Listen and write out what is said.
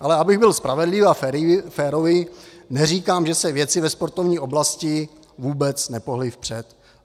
Ale abych byl spravedlivý a férový, neříkám, že se věci ve sportovní oblasti vůbec nepohnuly vpřed.